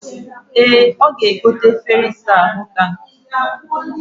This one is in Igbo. E, oga-egote efere isa ahu taa